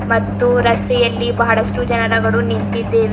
ಮತ್ತು ರಸ್ತೆಯಲ್ಲಿ ಬಹಳಷ್ಟು ಜನರವರು ನಿಂತಿದ್ದೇವೆ.